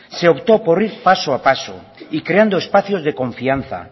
se optó por ir paso a paso y creando espacios de confianza